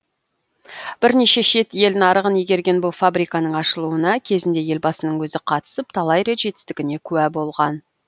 бірнеше шет ел нарығын игерген бұл фабриканың ашылуына кезінде елбасының өзі қатысып талай рет жетістігіне куә болған